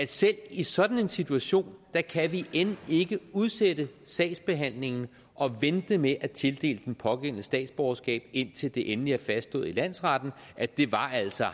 selv i sådan en situation kan vi end ikke udsætte sagsbehandlingen og vente med at tildele den pågældende statsborgerskab indtil det endeligt er fastslået i landsretten at det altså